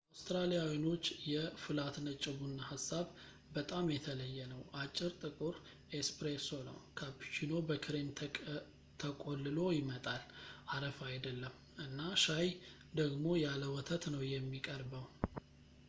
ለአውትራሊያኖች የ’ፍላት ነጭ’ ቡና ሀሳብ በጣም የተለየ ነው። አጭር ጥቁር ‘ኤስፕሬሶ’ ነው፣ ካፕቺኖ በክሬም ተቆልሎ ይመጣልአረፋ አይደለም፣ እና ሻይ ደግሞ ያለ ወተት ነው የሚቀርበው